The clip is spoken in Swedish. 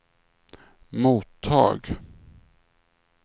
mottag